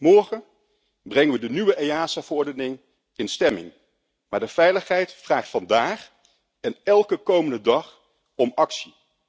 Morgen brengen we de nieuwe EASA verordening in stemming, maar de veiligheid vraagt vandaag en elke komende dag om actie.